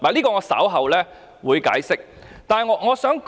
我稍後會解釋這點。